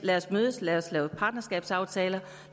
lad os mødes lad os lave partnerskabsaftaler